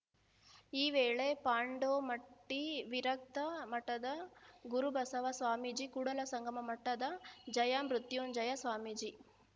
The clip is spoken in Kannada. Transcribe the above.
ಈ ವೇಳೆ ಪಾಂಡೋಮಟ್ಟಿವಿರಕ್ತ ಮಠದ ಗುರುಬಸವ ಸ್ವಾಮೀಜಿ ಕೂಡಲ ಸಂಗಮ ಮಠದ ಜಯ ಮೃತ್ಯುಂಜಯ ಸ್ವಾಮೀಜಿ